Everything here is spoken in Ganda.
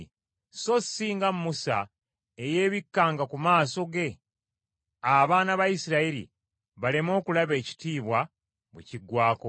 so si nga Musa eyeebikkanga ku maaso ge, abaana ba Isirayiri baleme okulaba ekitiibwa bwe kiggwaako.